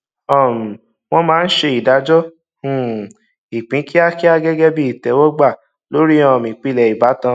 um wọn máa ń ṣe ìdájọ um ìpín kíákíá gẹgẹ bí ìtẹwọgbà lórí um ìpìlẹ ìbátan